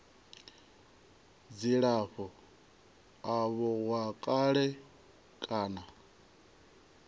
dzilafho avho wa kale kana